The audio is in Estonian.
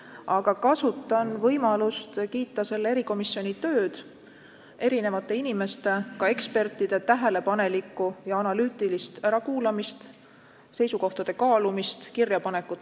Aga kasutan võimalust kiita selle erikomisjoni tööd – erinevate inimeste, ka ekspertide tähelepanelikku ja analüütilist ärakuulamist, seisukohtade kaalumist ja kirjapanekut.